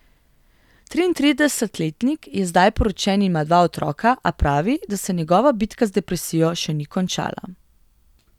Triintridesetletnik je zdaj poročen in ima dva otroka, a pravi, da se njegova bitka z depresijo še ni končala.